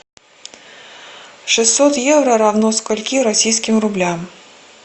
шестьсот евро равно скольки российским рублям